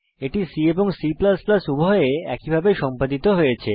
এটি C এবং C উভয়ে একই ভাবে সম্পাদিত হয়েছে